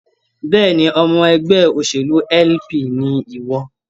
Bẹ́ẹ̀ni, ọmọ ẹgbẹ́ òṣèlú LP ni ìwọ